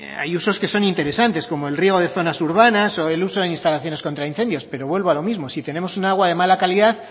hay usos que son interesantes como el río de zonas urbanas o el uso de instalaciones contra incendios pero vuelvo a lo mismo si tenemos un agua de mala calidad